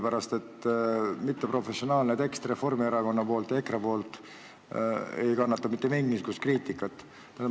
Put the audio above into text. Nii ebaprofessionaalne tekst Reformierakonna ja EKRE poolt ei kannata mitte mingisugust kriitikat.